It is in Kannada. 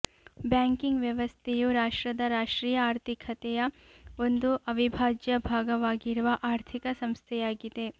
ಬ್ಯಾಂಕಿಂಗ್ ವ್ಯವಸ್ಥೆಯು ರಾಷ್ಟ್ರದ ರಾಷ್ಟ್ರೀಯ ಆರ್ಥಿಕತೆಯ ಒಂದು ಅವಿಭಾಜ್ಯ ಭಾಗವಾಗಿರುವ ಆರ್ಥಿಕ ಸಂಸ್ಥೆಯಾಗಿದೆ